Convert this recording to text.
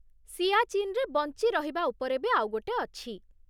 ସିଆଚିନ୍‌ରେ ବଞ୍ଚି ରହିବା ଉପରେ ବି ଆଉ ଗୋଟେ ଅଛି।